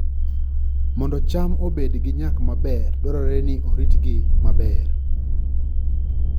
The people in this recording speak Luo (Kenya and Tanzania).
Mondo cham obed gi nyak maber, dwarore ni oritgi maber